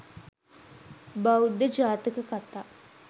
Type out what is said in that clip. බෞද්ධ ජාතක කථා